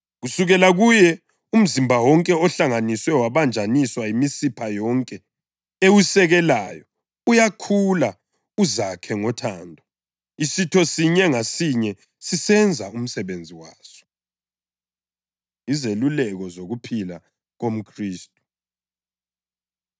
Kusukela kuye umzimba wonke ohlanganiswe wabanjaniswa yimisipha yonke ewusekelayo uyakhula uzakhe ngothando, isitho sinye ngasinye sisenza umsebenzi waso. Izeluleko Zokuphila KomKhristu